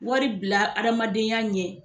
Wari bila adamadenya ɲɛ